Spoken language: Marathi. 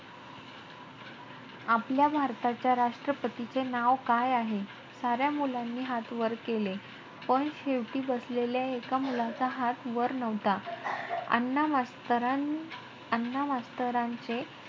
आपल्या भारताच्या राष्ट्रपतींचे नाव काय आहे? साऱ्या मुलांनी हात वर केले. पण शेवटी बसलेल्या एक मुलाचा हात वर नव्हता. अण्णा मास्तरां~ अण्णा मास्तरांचे